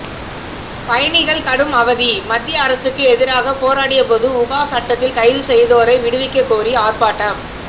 பயணிகள் கடும் அவதி மத்திய அரசுக்கு எதிராக போராடியபோது உபா சட்டத்தில் கைது செய்தோரை விடுவிக்கக் கோரி ஆர்ப்பாட்டம்